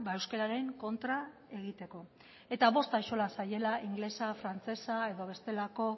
euskararen kontra egiteko eta bost axola zaiela ingelesa frantsesa edo bestelako